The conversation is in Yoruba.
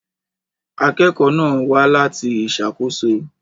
Akẹ́kọ̀ọ́ náà wá láti ìṣàkóso.